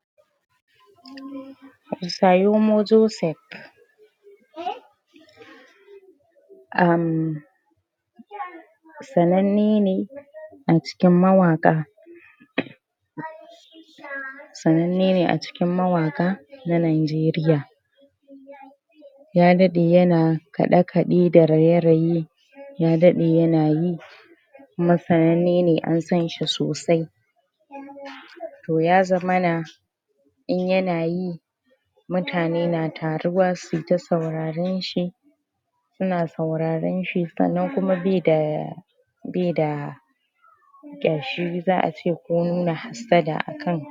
? uhmm sananne ne a cikin mawaƙa sananne ne a cikin mawaƙa na Nigeriya ya daɗe yana kaɗe kaɗe da raye raye ya daɗe yana yi kuma sananne ne an sanshi sosai to ya zama na in yana yi mutane na taruwa suyi ta sauraron shi suna sauraron shi sannan kuma baida baida ƙyashi za'a ce ko nuna hassada akan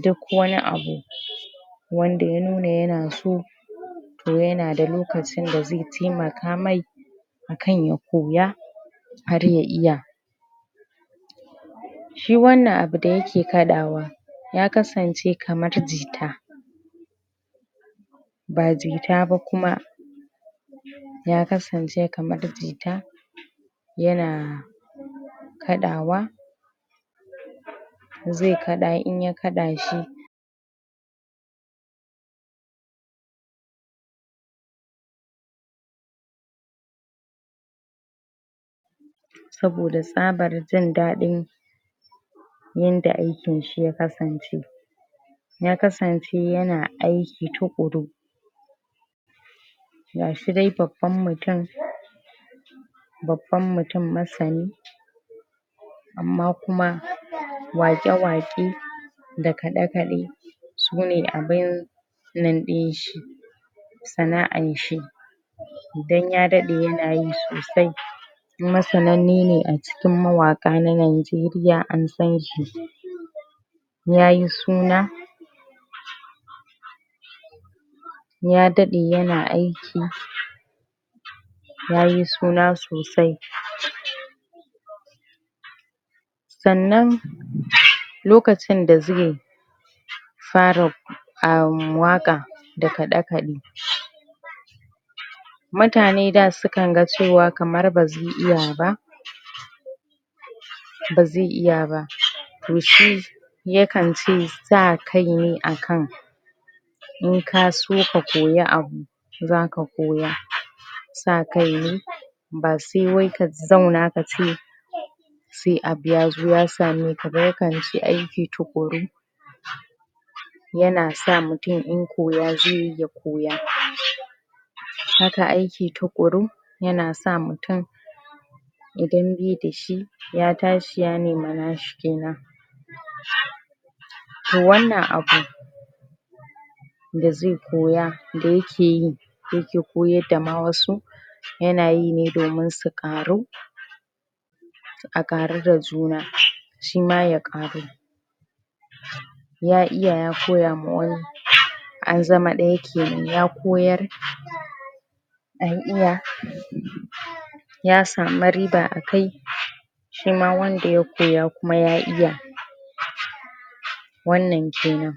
duk wani abu wanda ya nuna yana so to yana da lokacin da zai taimaka mai akan ya koya har ya iya shi wannan abu da yake kaɗawa ya kasan ce kamar jita ba jita ba kuma ya kasance kamar jita yana kaɗawa zai kaɗa in ya kaɗa shi saboda tsabar jin dadin yanda aikin shi ya kasance ya kasance yana aiki tuƙuru gashi dai babban mutum babban mutum masani amma kuma waƙw waƙe da kaɗe kaɗe su ne abinnan din shi sana'an shi dan ya dade yana yi sosai kuma sananne ne a cikin mawaƙa na Najeriya an san shi ya yi suna ya daɗe yana aiki yayi suna sosai sannan lokacin da zai fara uhm waƙa da kaɗe kaɗe mutane da sukan ga cewa kamar bazai iya ba bazai iya ba to shi yakan ce sa kai ne akan in ka so ka koyi abu za ka koya sa kai ne ba sai wai ka zauna ka ce sai abu yazo ya same ka ba yakan ce aiki tuƙuru yana sa mutum in koya zai yi ya koya haka aiki tuƙuru yana sa mutum idan dai da shi ya tashi ya nema nashi kenan to wannan abu da zai koya da yake yi yake koyar da ma wasu yana yi ne domin su ƙaru a ƙaru da juna shima ya ƙaru ya iya ya koya ma wani an zama ɗaya kenan ya koyar an iya ya samu riba a kai shima wanda ya koya kuma ya iya wannan kenan